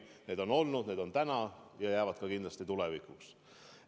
Nii on olnud, nii on täna ja nii jääb ka kindlasti tulevikus.